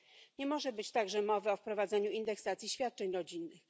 Nie może być także mowy o wprowadzeniu indeksacji świadczeń rodzinnych.